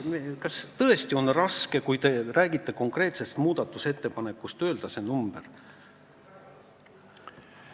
Kas tõesti on raske, kui te räägite konkreetsest muudatusettepanekust, öelda selle number?